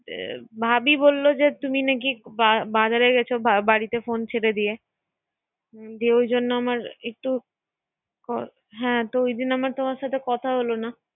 এ ভাবি বলল যে, তুমি নাকি বা¬বাজারে গেছ। বা¬বাড়িতে ফোন ছেড়ে দিয়ে। হ্যা, এই জন্য আমার একটু। হ্যা ঐই দিন আমার তোমার সাথে কথা হলো না